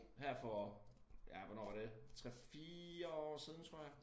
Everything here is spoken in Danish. Her for ja hvornår var det 3 4 år siden tror jeg